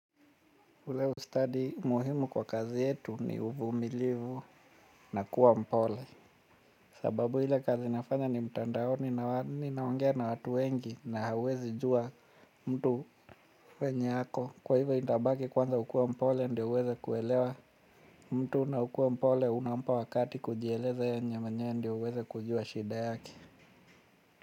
Ule ustadi, muhimu kwa kazi yetu ni uvumilivu na kuwa mpole. Sababu ile kazi nafanya ni mtandaoni naongea na watu wengi na hauwezi jua mtu venye ako. Kwa hivyo itabaki kwanza ukuwe mpole ndio uweze kuelewa. Mtu na ukuwe mpole unampa wakati kujieleza yenye mwenyewe ndio uweze kujua shida yake.